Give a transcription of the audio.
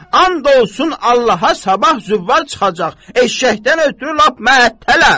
And olsun Allaha sabah züvvar çıxacaq, eşşəkdən ötrü lap mətələm!